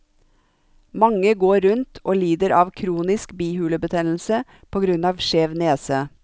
Mange går rundt og lider av kronisk bihulebetennelse på grunn av skjev nese.